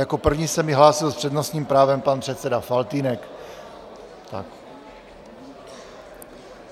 Jako první se mi hlásil s přednostním právem pan předseda Faltýnek.